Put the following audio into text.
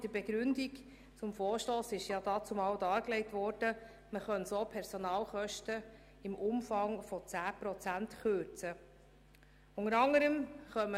In der Begründung des Vorstosses wurde dannzumal dargelegt, dass man damit Personalkosten im Umfang von 10 Prozent einsparen könne.